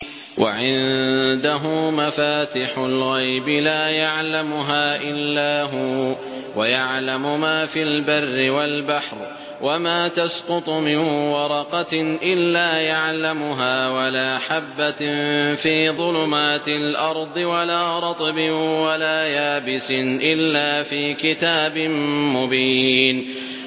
۞ وَعِندَهُ مَفَاتِحُ الْغَيْبِ لَا يَعْلَمُهَا إِلَّا هُوَ ۚ وَيَعْلَمُ مَا فِي الْبَرِّ وَالْبَحْرِ ۚ وَمَا تَسْقُطُ مِن وَرَقَةٍ إِلَّا يَعْلَمُهَا وَلَا حَبَّةٍ فِي ظُلُمَاتِ الْأَرْضِ وَلَا رَطْبٍ وَلَا يَابِسٍ إِلَّا فِي كِتَابٍ مُّبِينٍ